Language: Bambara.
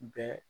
Bɛɛ